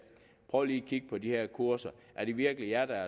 prøv lige at kigge på de her kurser er det virkelig jer der